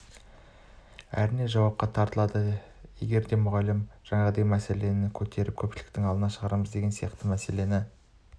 әрине жауапқа тартылады егер де мұғалім жаңағындай мәселені көтеріп көпшіліктің алдына шығарамыз деген сияқты мәселені